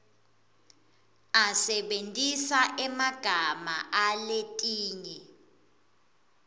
asebentisa emagama aletinye